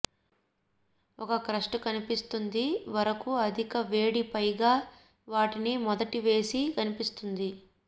ఒక క్రస్ట్ కనిపిస్తుంది వరకు అధిక వేడి పైగా వాటిని మొదటి వేసి కనిపిస్తుంది